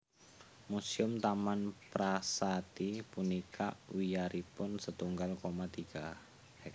Museum Taman Prasati punika wiyaripun setunggal koma tiga ha